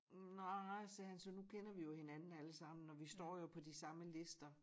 Nej sagde han så nu kender vi jo hinanden alle sammen og vi står jo på de samme lister